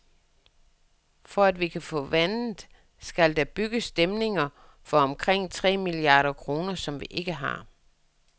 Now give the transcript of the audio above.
For at vi kan få vandet skal, der bygges dæmninger for omkring tre milliarder kroner, som vi ikke har.